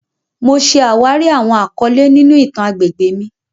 Mo ṣe awari awọn akọle ninu itan agbegbe mi.